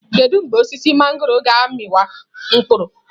Kedu mgbe osisi mangọrọ ga-amị wa mkpụrụ?